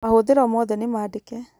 Mahũthiro moothe nĩmaandĩke